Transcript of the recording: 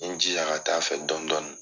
N ye n jija ka taa fɛ dɔni dɔni.